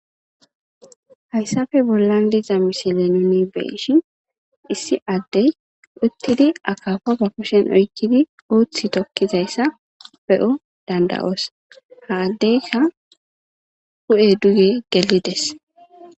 Haysappe bollan diiza missile nuuni be'ishin issi adey uttidi akkapa ba keshshen oykkidi uuththi tookizayssa be'oo dand'oos ha addeyka hu'ey duugge gellides.